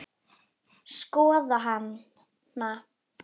Skoða hana?